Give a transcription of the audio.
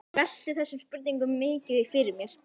Ég velti þessum spurningum mikið fyrir mér.